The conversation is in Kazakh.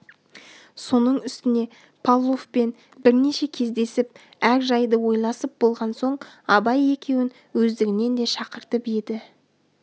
соның үстіне павловпен бірнеше кездесіп әр жайды ойласып болған соң абай екеуін өздігінен де шақыртып еді